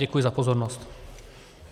Děkuji za pozornost.